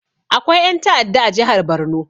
Akwai ƴan ta'adda a jihar barno